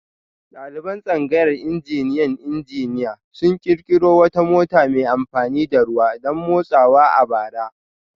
Daliban tsangayar injiniyan injiniya sun kirkiro wata mota mai amfani da ruwa don motsawa a bara